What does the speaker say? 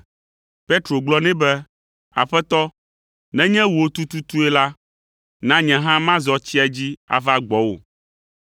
Petro gblɔ nɛ be, “Aƒetɔ, nenye wò tututue la, na nye hã mazɔ tsia dzi ava gbɔwò.”